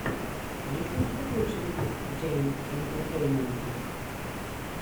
есть ли у тебя лучший выпуск джейэм интертеймента